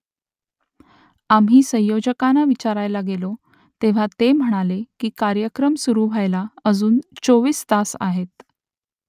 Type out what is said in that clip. आम्ही संयोजकांना विचारायला गेलो तेव्हा ते म्हणाले की कार्यक्रम सुरू व्हायला अजून चोवीस तास आहेत